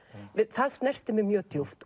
það snerti mig mjög djúpt